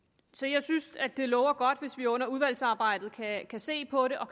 jeg synes det lover godt hvis vi under udvalgsarbejdet kan se på det og